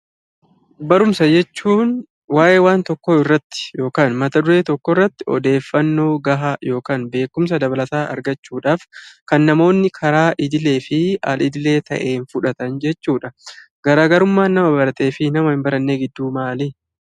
Barumsa jechuun waa'ee waan tokkoo irratti yokaan mataduree tokko irratti odeeffannoo gahaa yokaan beekumsa dabalataa argachuudhaaf kan namoonni karaa idilee fi al-idilee ta'een fudhatan jechuudha. Garaagarummaan nama baratee fi nama hin barannee gidduu maalii?